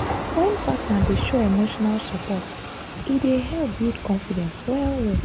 wen partner dey show emotional support e dey help build confidence well well.